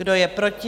Kdo je proti?